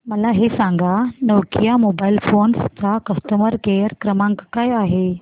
मला हे सांग नोकिया मोबाईल फोन्स चा कस्टमर केअर क्रमांक काय आहे